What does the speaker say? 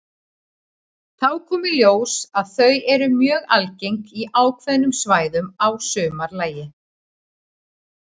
Þá kom í ljós að þau eru mjög algeng á ákveðnum svæðum að sumarlagi.